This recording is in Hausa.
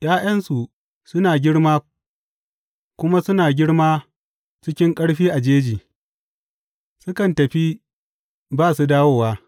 ’Ya’yansu suna girma kuma suna girma cikin ƙarfi a jeji; sukan tafi ba su dawowa.